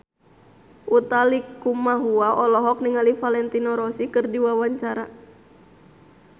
Utha Likumahua olohok ningali Valentino Rossi keur diwawancara